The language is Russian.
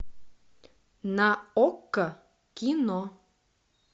на окко кино